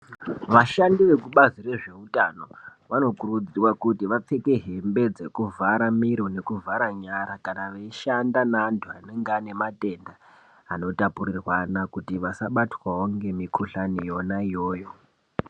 Vashandi vekubazi rezveutano vanokurudzirwa kuti vapfeke hembe dzekuvhara miro nekuvhara nyara kana veishanda neantu anenge anematenda anotapurirwana vasabatwawo ngemukhuhlani yona iyoyo.